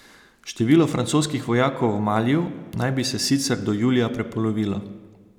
Število francoskih vojakov v Maliju naj bi se sicer do julija prepolovilo.